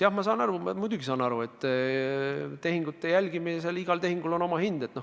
Jah, ma saan aru, muidugi saan aru, et tehingute jälgimisel on igal tehingul oma hind.